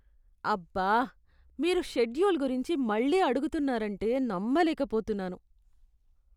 అబ్బా, మీరు షెడ్యూల్ గురించి మళ్ళీ అడుగుతున్నారంటే నమ్మలేకపోతున్నాను!